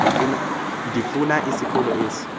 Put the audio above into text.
ndifuna isikolo esi